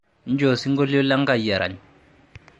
injoo osinkolio le enkai erany